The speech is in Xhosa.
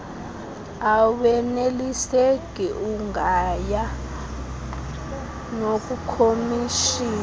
aweneliseki ungaya nakukhomishina